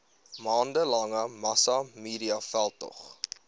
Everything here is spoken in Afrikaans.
maande lange massamediaveldtog